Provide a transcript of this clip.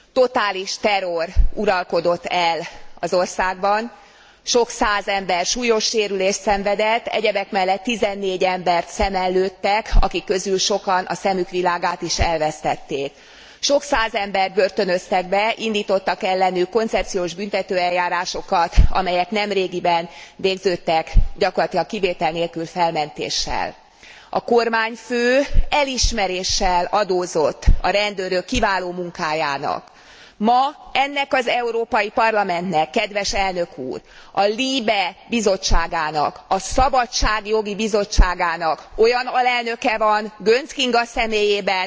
Totális terror uralkodott el az országban, sok száz ember súlyos sérülést szenvedett, egyebek mellett 14 embert szemen lőttek, akik közül sokan a szemük világát is elvesztették. Sok száz embert börtönöztek be, indítottak ellenük koncepciós büntetőeljárásokat, amelyek nemrégiben végződtek gyakorlatilag kivétel nélkül felmentéssel. A kormányfő elismeréssel adózott a rendőrök kiváló munkájának. Ma ennek az Európai Parlamentnek, kedves Elnök úr, a LIBE bizottságának, a szabadságjogi bizottságának olyan alelnöke van Göncz Kinga személyében,